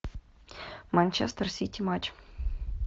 манчестер сити матч